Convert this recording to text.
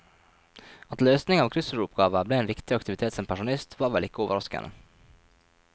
At løsning av kryssordoppgaver ble en viktig aktivitet som pensjonist, var vel ikke overraskende.